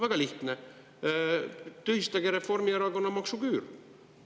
Väga lihtne: tühistage Reformierakonna maksuküür.